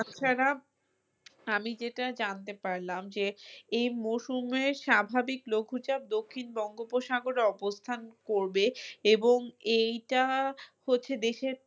তাছাড়া আমি যেটা জানতে পারলাম যে এই মৌসুমের স্বাভাবিক লঘু চাপ দক্ষিণ বঙ্গোপসাগরে অবস্থান করবে এবং এইটা হচ্ছে দেশের